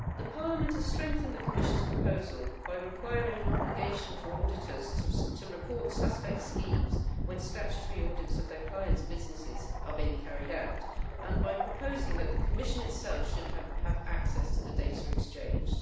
Parliament has strengthened the Commission's proposal by requiring an obligation for auditors to report suspect schemes when statutory audits of their clients' businesses are being carried out and by proposing that the Commission itself should have access to the data exchanged.